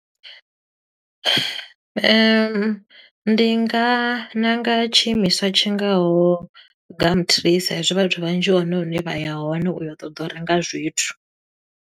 Ndi nga ndi nga ṋanga tshiimiswa tshingaho Gumtree sa i zwi vhathu vhanzhi hu hone hune vha ya hone u ya u ṱoḓa u renga zwithu.